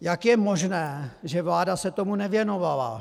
Jak je možná, že vláda se tomu nevěnovala?